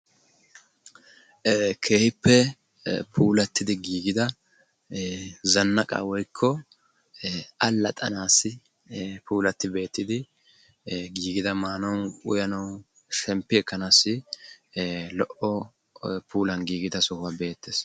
Keehippe puulattidi giigida zannaqqa woykko allaxxanassi puulatti beettidi giigida maanaw, uyyanaw, shemppi ekkanassi lo"o puulan giigida sohuwaa be"ettees.